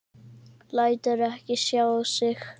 Lætur ekki sjá sig.